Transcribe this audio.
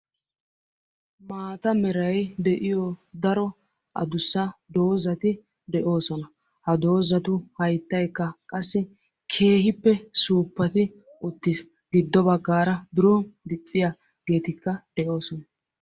Maata meray de'iyo daro addussa doozati de'oosona. Ha doozatu hayttaykka qassi keehippe suuppati uttiis. Giddo baggaara biron dicciyaageetikka de'oosona.